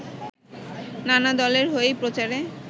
নানা দলের হয়েই প্রচারে